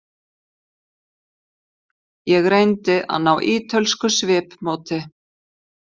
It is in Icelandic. Ég reyndi að ná ítölsku svipmóti.